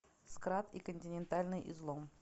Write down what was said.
скрат и континентальный излом